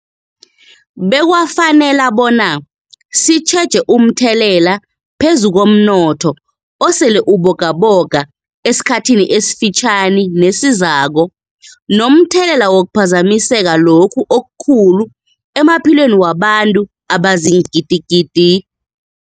Bekwafanela bona sitjheje umthelela phezu komnotho osele ubogaboga esikhathini esifitjhani nesizako, nomthelela wokuphazamiseka lokhu okukhulu emaphilweni wabantu abaziingidigidi.